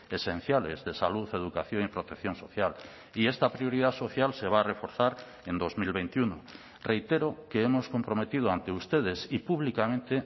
esenciales de salud educación y protección social y esta prioridad social se va a reforzar en dos mil veintiuno reitero que hemos comprometido ante ustedes y públicamente